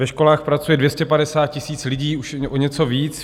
Ve školách pracuje 250 000 lidí, už o něco víc.